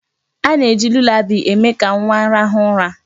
A na-eji lulabaị eme ka nwa rahụ ụra.